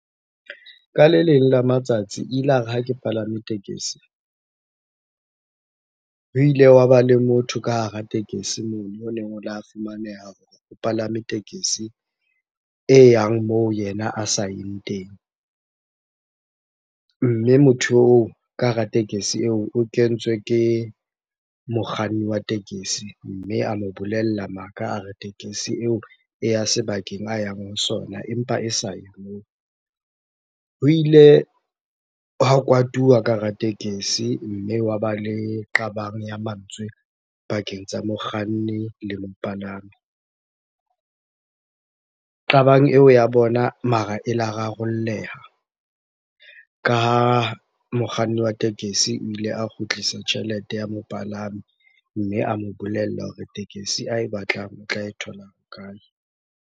Ka le leng la matsatsi ilare ha ke palame tekesi, ho ile wa ba le motho ka hara tekesi mono fumaneha hore o palame tekesi e yang moo yena a sayeng teng. Mme motho oo ka hara tekesi eo o kentswe ke mokganni wa tekesi. Mme a mo bolella maka a re, tekesi eo e ya sebakeng a yang ho sona empa e saye moo. Ho ile hwa kwatuwa ka hara tekesi, mme hwa ba le qabang ya mantswe pakeng tsa mokganni le mopalami. Qabang eo ya bona mara e la rarolleha, ka ha mokganni wa tekesi o ile a kgutlisa tjhelete ya mopalami mme a mo bolella hore tekesi ae batlang o tla e thola kae?